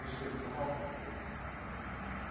ты что испугался папулька